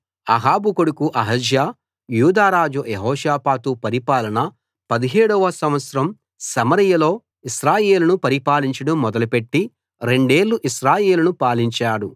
అహాబు కొడుకు అహజ్యా యూదారాజు యెహోషాపాతు పరిపాలన 17 వ సంవత్సరం సమరయలో ఇశ్రాయేలును పరిపాలించడం మొదలుపెట్టి రెండేళ్ళు ఇశ్రాయేలును పాలించాడు